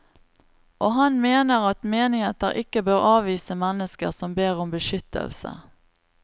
Og han mener at menigheter ikke bør avvise mennesker som ber om beskyttelse.